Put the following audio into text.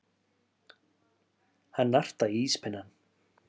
Hann nartaði í íspinnann.